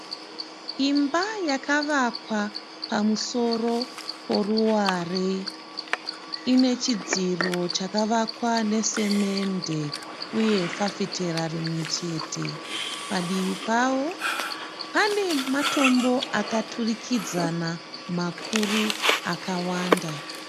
Imba yakavakwa pamusoro peruware ine chidziro chakavakwa nesimende uye fafitera rimwe chete. Padivi pavo pane matombo akaturikidzana makuru akawanda